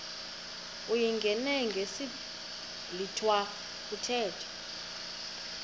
uyingene ngesiblwitha kuthethwa